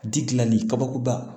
Ji dilanli kabakuruba